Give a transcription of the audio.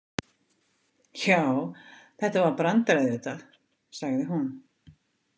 Já, þetta var brandari auðvitað, sagði hún.